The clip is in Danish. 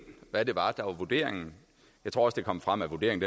hvad det var der var vurderingen jeg tror også det kom frem at vurderingen